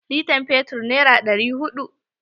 Litan fetur nera ɗari huɗu.